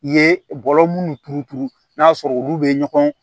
I ye bɔlɔ minnu turu turu n'a sɔrɔ olu bɛ ɲɔgɔn